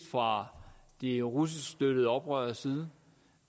fra de russisk støttede oprøreres side